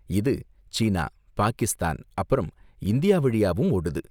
இது சீனா, பாகிஸ்தான், அப்புறம் இந்தியா வழியாவும் ஓடுது.